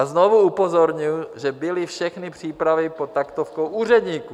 A znovu upozorňuji, že byly všechny přípravy pod taktovkou úředníků.